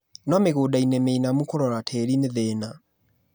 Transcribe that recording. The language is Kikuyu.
no mĩgũdainĩ mĩinamu kũrora tĩri nĩthĩna.